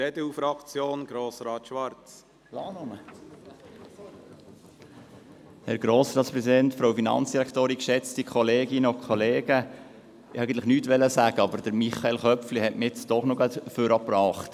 Ich wollte eigentlich nichts sagen, aber Michael Köpfli hat mich doch gerade nach vorne gebracht.